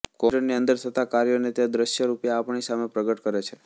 કોમ્પ્યુટરની અંદર થતા કાર્યોને તે દૃશ્ય રૂપે આપણી સામે પ્રગટ કરે છે